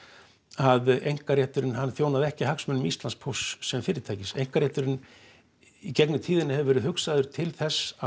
að einkarétturinn þjónaði ekki hagsmunum Íslandspósts sem fyrirtækis einkarétturinn í gegnum tíðina hefur verið hugsaður til þess að